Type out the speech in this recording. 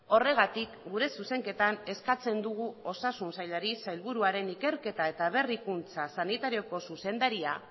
horregatik gure zuzenketan eskatzen dugu osasun sailari sailburuaren ikerketa eta berrikuntza sanitarioko zuzendaria